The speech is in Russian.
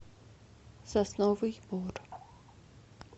сосновый бор